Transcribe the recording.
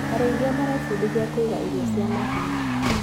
Arĩithia marebundithia kũiga irio cia mahiũ.